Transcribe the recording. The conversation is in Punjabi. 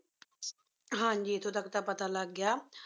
ਹਨ ਜੀ ਏਥੋਂ ਤਕ ਤਾਂ ਪਤਾ ਲਾਗ ਗਿਆ